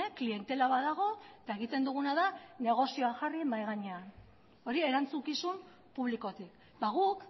klientela badago eta egiten duguna da negozioan jarri mahi gainean hori erantzukizun publikotik guk